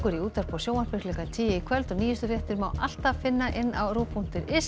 í útvarpi og sjónvarpi klukkan tíu í kvöld og nýjustu fréttir má alltaf finna inni á rúv punktur is